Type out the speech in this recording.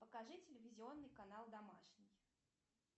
покажи телевизионный канал домашний